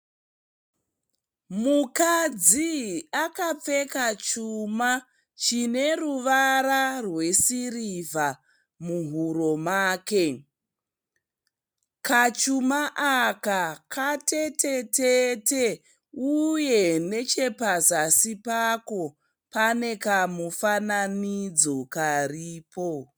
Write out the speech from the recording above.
Mukadzi akapfeka chuma chine ruvara rwesirivha muhuro make. Kachuma aka katetete uye pazasi pako pane kamufananidzo karipo.